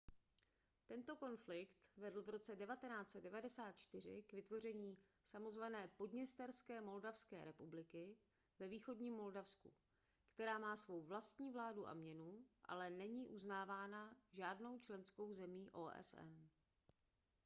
tento konflikt vedl v roce 1994 k vytvoření samozvané podněsterské moldavské republiky ve východním moldavsku která má svou vlastní vládu a měnu ale není uznávána žádnou členskou zemí osn